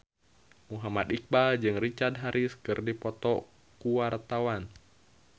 Muhammad Iqbal jeung Richard Harris keur dipoto ku wartawan